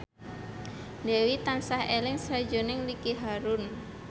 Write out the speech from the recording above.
Dewi tansah eling sakjroning Ricky Harun